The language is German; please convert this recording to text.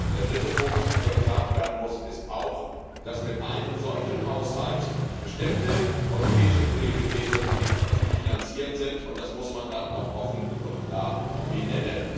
Der dritte Punkt, den ich noch ansprechen muss, ist, dass mit einem solchen Haushalt bestimmte europäische Prioritäten nicht zu finanzieren sind, und das muss man dann auch offen und klar sagen.